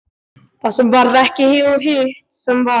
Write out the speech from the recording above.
Það sem varð ekki og hitt sem varð